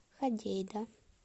ходейда